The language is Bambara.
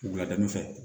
Wulada fɛ